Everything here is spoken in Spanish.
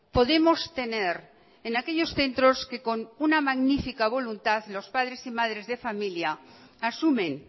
podemos tener en aquellos centros que con una magnifica voluntad los padres y madres de familia asumen